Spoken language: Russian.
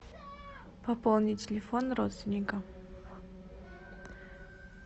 пополнить телефон родственника